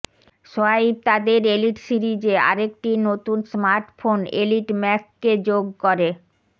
swipe তাদের Elite সিরিজে আরেকটি নতুন স্মার্টফোন এলিট ম্যাক্স কে যোগ করে